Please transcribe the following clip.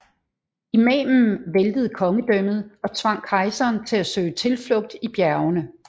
Imamen væltede kongedømmet og tvang kejseren til at søge tilflugt i bjergene